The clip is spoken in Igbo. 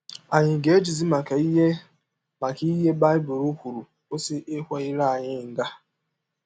Ànyị ga - ejizi maka ihe maka ihe a Baịbụl kwụrụ kwụsị ịkwa ire anyị nga?